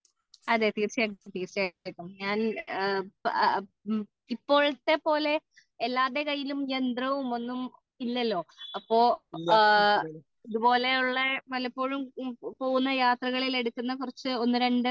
അതേ തീർച്ചയായിട്ടും ഞാൻ ഇപ്പോഴത്തെ പോലെ എല്ലാവരുടെ കൈയിൽ യന്ത്രവും ഒന്നും ഇല്ലല്ലോ അപ്പൊ ഇതുപോലെ ഉള്ള പലപ്പോഴും പോകുന്ന യാത്രകളിൽ എടുക്കുന്ന കുറച്ച് ഒന്ന്, രണ്ട്